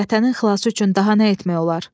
Vətənin xilası üçün daha nə etmək olar?